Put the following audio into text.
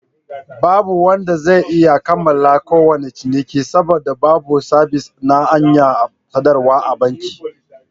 Babu wanda zai iya kammala kowane ciniki, saboda babu sabis na hanyar sadarwa a bankin.